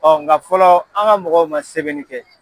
nga fɔlɔ an ka mɔgɔw man sɛbɛnni kɛ.